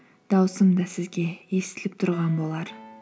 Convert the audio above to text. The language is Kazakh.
дауысым да сізге естіліп тұрған болар